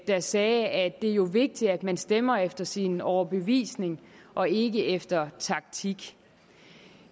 der sagde at det jo er vigtigt at man stemmer efter sin overbevisning og ikke efter taktik